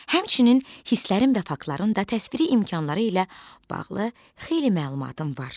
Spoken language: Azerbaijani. Həmçinin hisslərin və faktların da təsviri imkanları ilə bağlı xeyli məlumatım var.